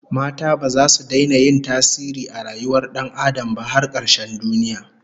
Mata baza su daina yin tasiri a rayuwar Dan Adam ba har karshen duniya